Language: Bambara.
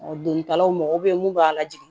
Ɔ delilaw mago bɛ mun b'a la jigi